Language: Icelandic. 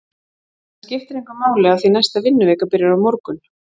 En það skiptir engu máli af því næsta vinnuvika byrjar á morgun.